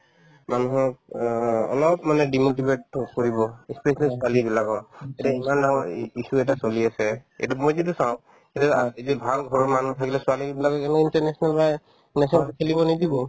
মানুহক অ অলপ মানে ই specially ছোৱালীবিলাকৰ এতিয়া ইমান ডাঙৰ ই~ issue এটা চলি আছে এইটোত মই যিটো চাও যে এতিয়া ভাল ঘৰৰ মানুহ থাকিলে ছোৱালীবিলাকে এনেও পায়ে নাথাকিলে খেলিব নিদিব